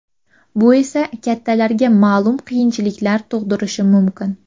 Bu esa kattalarga ma’lum qiyinchiliklar tug‘dirishi mumkin.